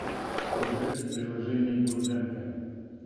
играть в приложение бурденко